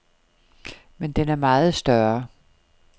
Men den er meget større.